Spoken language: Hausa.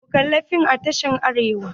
Mun kali fim a tashar Arewa.